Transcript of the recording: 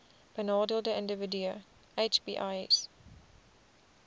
benadeelde individue hbis